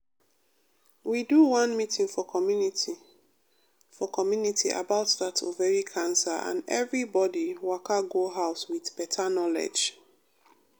we do one meeting for community for community about that ovary cancer and everybody waka go house with better knowledge.